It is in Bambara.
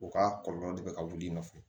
U ka kɔlɔlɔ de bɛ ka wuli i nɔfɛ